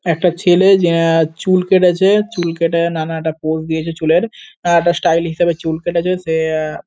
একটা ছেলে যে আ- চুল কেটেছে। চুল কেটে নানা একটা পোস দিয়েছে চুলের। আ- একটা স্টাইল হিসেবে চুল কেটেছে সে আ--